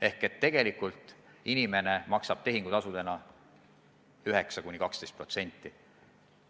Ehk tegelikult inimene maksab tehingutasudena 9–12%.